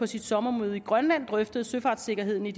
sit sommermøde i grønland drøftede søfartssikkerheden i